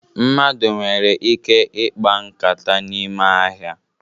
Mmadụ nwere ike ikpa nkata n'ime ahịa